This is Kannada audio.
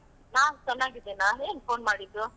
ನಾನ್ ಚೆನ್ನಾಗಿದ್ದೇನಾ, ಏನ್ phone ಮಾಡಿದ್ದು?